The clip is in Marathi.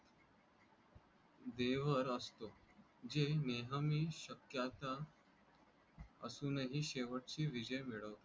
देवर असतो जे नेहमी शक्यता असून ही शेवटची विजय मिळवता.